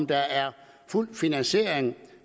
der er fuld finansiering